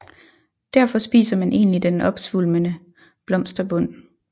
Derfor spiser man egentlig den opsvulmede blomsterbund